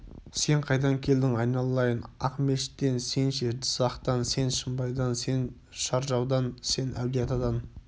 сен қайдан келдің айналайын ақмешіттен сен ше сен жызақтан сен шымбайдан сен шаржаудан сен әулиеатадан